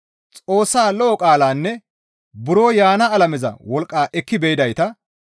Xoossaa lo7o qaalanne buro yaana alameza wolqqa ekki be7idayta,